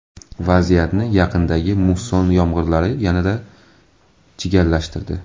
Vaziyatni yaqindagi musson yomg‘irlari yanada chigallashtirdi.